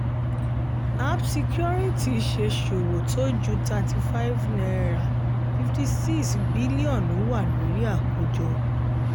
apt securities ṣe ṣòwò tó ju ₦35.56 bílíọ̀nù wà lórí àkójọ.